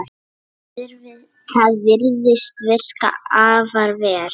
Það virðist virka afar vel.